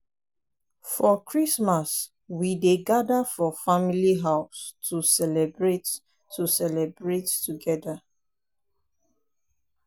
we dey tell folktales to children for night; na part of our tradition.